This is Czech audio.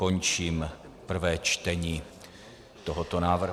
Končím prvé čtení tohoto návrhu.